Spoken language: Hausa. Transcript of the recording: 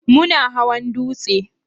Muna hawan dutsen?